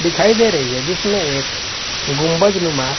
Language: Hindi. दिखाई दे रही है जिसमे एक गुंबजनुमा--